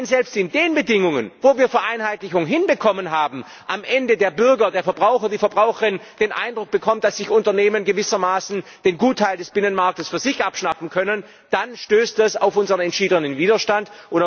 Aber wenn selbst bei den Bedingungen, wo wir Vereinheitlichung hinbekommen haben, am Ende der Bürger, der Verbraucher, die Verbraucherin den Eindruck bekommt, dass Unternehmen gewissermaßen den Gutteil des Binnenmarktes für sich abschnappen können, dann stößt das auf unseren entschiedenen Widerstand.